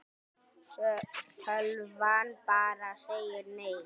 Tölvan bara segir nei.